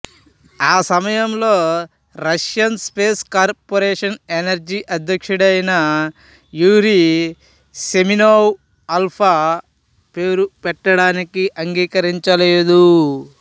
ఆ సమయంలో Russian space corporation Energia అధ్యక్షుడైన యూరి సెమెనోవ్ ఆల్ఫా పేరు పెట్టడానికి అంగీకరించలేదు